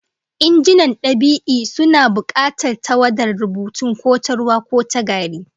Injinan dab'i suna bukatar tawadar rubutun, ko ta ruwa ko ta gari